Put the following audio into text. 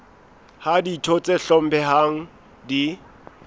ha ditho tse hlomphehang di